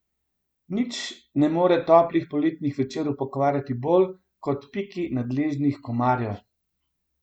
Nič ne more toplih poletnih večerov pokvariti bolj kot piki nadležnih komarjev.